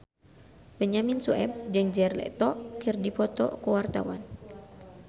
Benyamin Sueb jeung Jared Leto keur dipoto ku wartawan